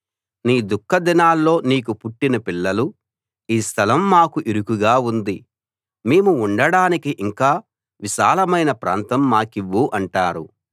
నీ దుఃఖదినాల్లో నీకు పుట్టిన పిల్లలు ఈ స్థలం మాకు ఇరుకుగా ఉంది మేము ఉండడానికి ఇంకా విశాలమైన ప్రాంతం మాకివ్వు అంటారు